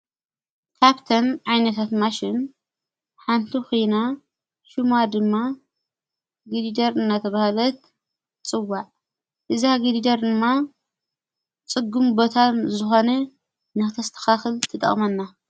ካፕተን ኣይነታት ማሽን ሓንቱ ኺና ሹማ ድማ ጊዲደር እናተ ብሃለት ጽዋዕ እዛ ጊዲደር እማ ጽጉም ቦታ ዝኾነ ነኽተስተኻኽል ይጠቕመና።